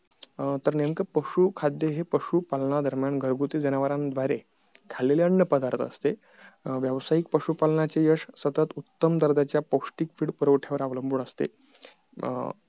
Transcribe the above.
तर नेमकं पशु खाद्य हे पशु पालण्यादरम्यान घरगुती जनावराद्वारे खाल्लेलं अन्न पदार्थ असते अं व्यावसायिक पशु पालनाचे यश सतत उत्तम दर्जाच्या पौष्टीक फीड पुरवठयावर अवलंबून असते अं